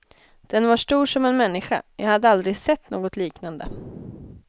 Den var stor som en människa, jag hade aldrig sett något liknande.